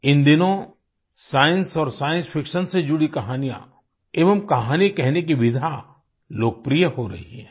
इन दिनों साइंस और science fiction से जुड़ी कहानियाँ एवं कहानी कहने की विधा लोकप्रिय हो रही है